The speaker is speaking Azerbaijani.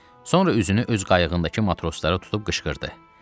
Sonra üzünü öz qayığındakı matroslara tutub qışqırdı.